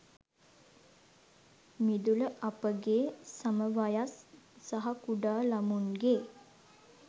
මිදුල අපගේ සම වයස් සහ කුඩා ළමුන්ගේ